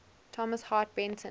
thomas hart benton